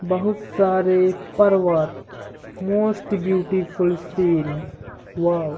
बोहोत बहो सारे पर्वत मोस्ट ब्यूटीफुल सीन वाउ --